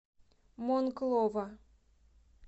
монклова